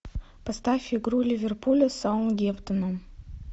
поставь игру ливерпуля с саутгемптоном